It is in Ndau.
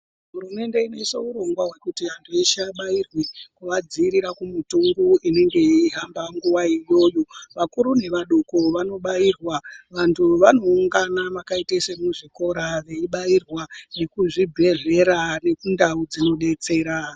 Hurumende inoise urongwa hwekuti antu eshe abairwe kuvandzivirira kumuntungu inenge yeihamba nguwayo iyoyo, vakuru nevadoko vanobairwa, vantu vanoungana makaite semuzvikora veibairwa nekuzvibhehlera nekundau dzinodetsera.